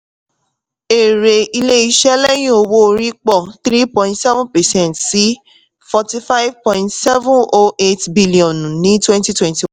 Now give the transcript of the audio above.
èrè ilé-iṣẹ́ lẹ́yìn owó orí pọ̀ three point seven percent sí forty-five point seven o eight biliọnù ní twenty twenty